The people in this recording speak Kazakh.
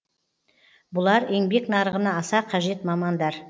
бұлар еңбек нарығына аса қажет мамандар